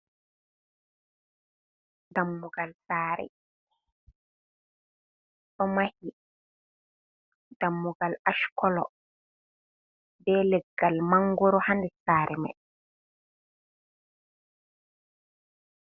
Dammugal sare ɗomahi, dammugal ash kolo be leggal mongoru ha nder saare man.